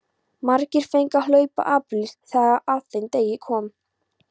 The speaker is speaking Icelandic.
Margir fengu að hlaupa apríl þegar að þeim degi kom.